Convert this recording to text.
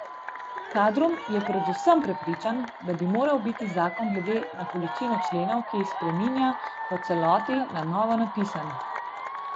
Kardum je predvsem prepričan, da bi moral biti zakon glede na količino členov, ki jih spreminja, v celoti na novo spisan.